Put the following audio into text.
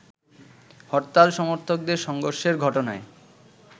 হরতাল সমর্থকদের সংঘর্ষের ঘটনায়